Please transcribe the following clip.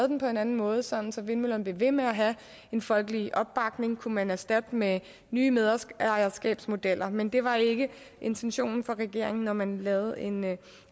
den på en anden måde sådan at vindmøllerne blev ved med at have en folkelig opbakning kunne man erstatte den med nye medejerskabsmodeller men det var ikke intentionen fra regeringen når man lavede en